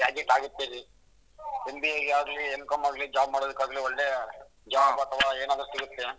MBA ಗಾಗ್ಲಿ M.Com ಗಾಗ್ಲಿ job ಮಾಡೋಕೆ ಆಗ್ಲಿ ಒಳ್ಳೆ jobs ಅಥವಾ ಏನಾದ್ರೂ ಸಿಗುತ್ತೆ.